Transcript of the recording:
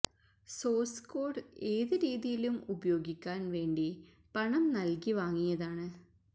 source code ഏത് രീതിയിലും ഉപയോഗിക്കാന് വേണ്ടി പണം നല്കി വാങ്ങിയതാണ്